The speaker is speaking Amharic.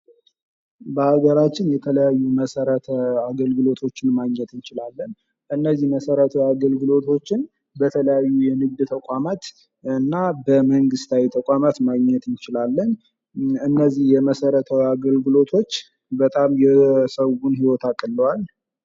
በሀገራችን የተለያዩ መሰረተ አገልግሎቶችን ማግኘት እንችላለን እነዚህ መሰረታዊ አገልግሎቶችን በተለያዩ የንግድ ተቋማት እና በመንግስታዊ ተቋማት ማግኘት እንችላለን እነዚህ የመሰረተታዊ አገልግሎቶች በጣም የሰው ህይወት አቅለውዋል::